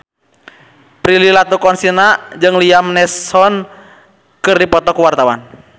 Prilly Latuconsina jeung Liam Neeson keur dipoto ku wartawan